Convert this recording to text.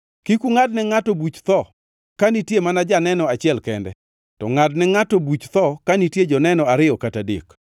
Kik ungʼadne ngʼato buch tho ka nitie mana janeno achiel kende, to ngʼadne ngʼato buch tho ka nitie joneno ariyo kata adek.